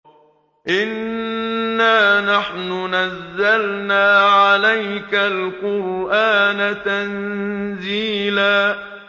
إِنَّا نَحْنُ نَزَّلْنَا عَلَيْكَ الْقُرْآنَ تَنزِيلًا